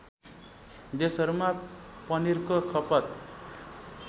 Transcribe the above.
देशहरूमा पनिरको खपत